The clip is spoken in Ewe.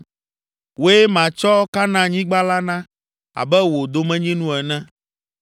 “Wòe matsɔ Kanaanyigba la na, abe wò domenyinu ene!”